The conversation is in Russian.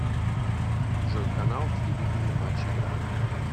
джой канал телевидения матч игра